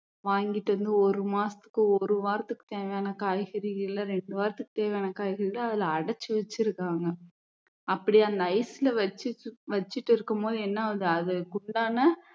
வாங்கிட்டு வந்து ஒரு மாசத்துக்கு ஒரு வாரத்துக்கு தேவையான காய்கறிகளை ரெண்டு வாரத்துக்கு தேவையான காய்கறிகள அதுல அடச்சி வெச்சி இருக்காங்க அப்படி அந்த ice ல வச்சி வச்சிட்டு இருக்கும்போது என்ன ஆகுது அதுக்கு உண்டான